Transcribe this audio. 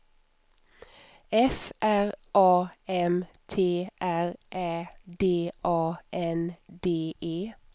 F R A M T R Ä D A N D E